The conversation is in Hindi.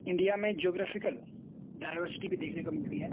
इंडिया में ज्योग्राफिकल डायवर्सिटी भी देखने को मिलती है।